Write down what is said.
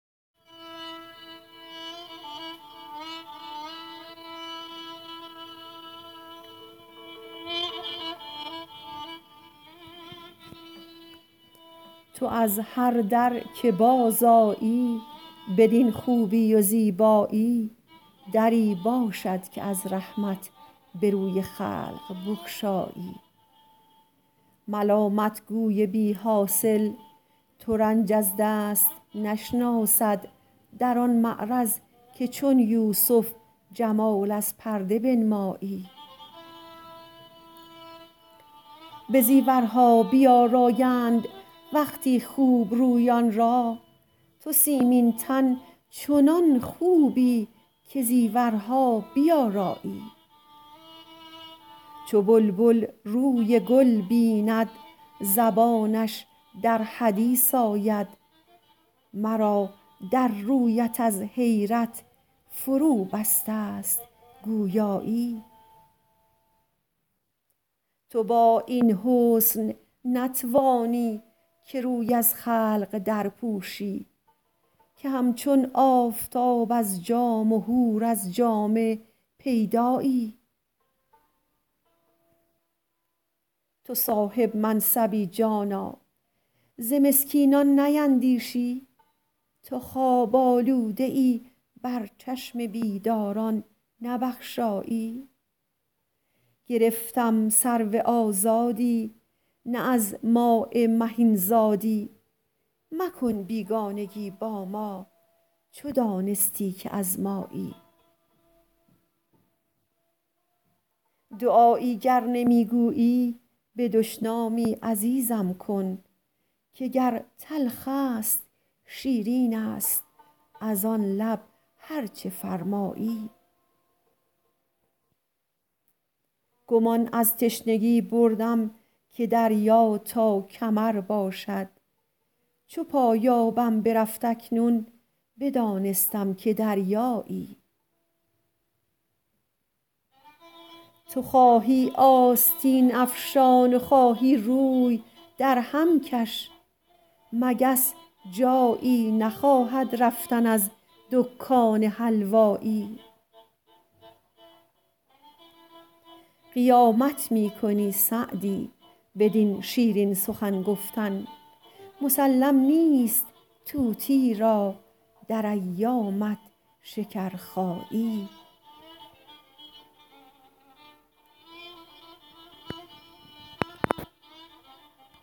تو از هر در که بازآیی بدین خوبی و زیبایی دری باشد که از رحمت به روی خلق بگشایی ملامت گوی بی حاصل ترنج از دست نشناسد در آن معرض که چون یوسف جمال از پرده بنمایی به زیورها بیآرایند وقتی خوب رویان را تو سیمین تن چنان خوبی که زیورها بیآرایی چو بلبل روی گل بیند زبانش در حدیث آید مرا در رویت از حیرت فروبسته ست گویایی تو با این حسن نتوانی که روی از خلق درپوشی که همچون آفتاب از جام و حور از جامه پیدایی تو صاحب منصبی جانا ز مسکینان نیندیشی تو خواب آلوده ای بر چشم بیداران نبخشایی گرفتم سرو آزادی نه از ماء مهین زادی مکن بیگانگی با ما چو دانستی که از مایی دعایی گر نمی گویی به دشنامی عزیزم کن که گر تلخ است شیرین است از آن لب هر چه فرمایی گمان از تشنگی بردم که دریا تا کمر باشد چو پایانم برفت اکنون بدانستم که دریایی تو خواهی آستین افشان و خواهی روی درهم کش مگس جایی نخواهد رفتن از دکان حلوایی قیامت می کنی سعدی بدین شیرین سخن گفتن مسلم نیست طوطی را در ایامت شکرخایی